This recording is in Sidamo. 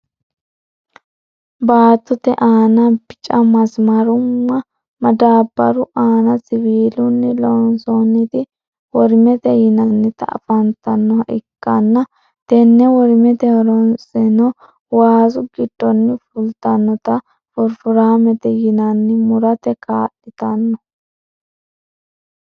baattote aanna bicca masimaramu madabaru aanna siwiilunni loonsooniti worimete yinanniti afantanoha ikanna tenne worimmeti horosenno waasu giddoni fulitannotal furifuraammete yinannita murate ka'litanno